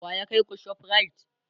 wa ya kaiku ShopRite?